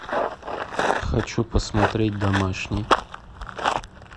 хочу посмотреть домашний